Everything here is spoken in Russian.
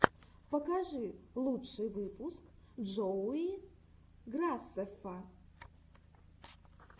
покажи лучший выпуск джоуи грасеффа